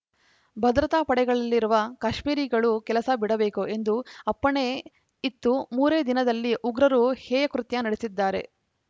ಭದ್ರತಾ ಪಡೆಗಳಲ್ಲಿರುವ ಕಾಶ್ಮೀರಿಗಳು ಕೆಲಸ ಬಿಡಬೇಕು ಎಂದು ಅಪ್ಪಣೆ ಇತ್ತು ಮೂರೇ ದಿನದಲ್ಲಿ ಉಗ್ರರು ಹೇಯಕೃತ್ಯ ನಡೆಸಿದ್ದಾರೆ